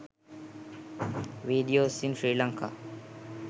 videos in sri lanka